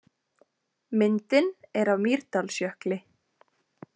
Myndin er af Mýrdalsjökli.